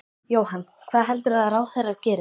Jóhann: Hvað heldurðu að ráðherrar geri?